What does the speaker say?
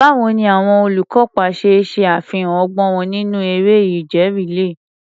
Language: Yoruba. Báwo ni àwọn olùkópa ṣe ṣe àfihàn ọgbọ́n wọn nínú eré ìje rìléè?